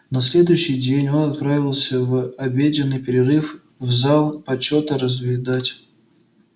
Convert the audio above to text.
на следующий день он отправился в обеденный перерыв в зал почёта разведать